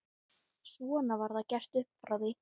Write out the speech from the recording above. Svona var það gert upp frá því.